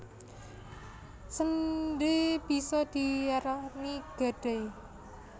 Séndhé bisa diarani gadai